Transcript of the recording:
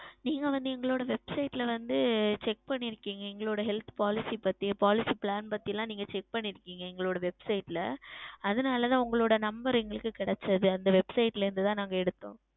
நீங்கள் வந்து எங்களுடைய Website ல வந்து Check பண்ணிருக்கிங்க எங்களுடைய Health Policy பற்றி Policy Plan பற்றி ல Check பண்ணிருக்கிங்க எங்களுடைய Website ல அதுனால் தான் உங்களுடைய Number எங்களுக்கு கிடைத்தது அந்த Website ல இருந்து தான் எடுத்தோம்